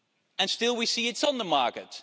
And still we see it is on the market.